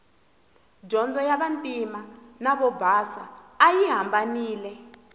dyondzo ya vantima na vobasa ayi hambanile